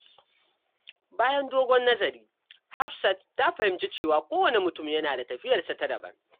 Bayan dogon nazari, Hafsat ta fahimci cewa kowanne mutum yana da tafiyarsa ta daban.